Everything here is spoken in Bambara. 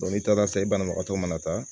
n'i taara se banabagatɔ mana taa